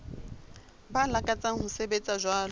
ba lakatsang ho sebetsa jwalo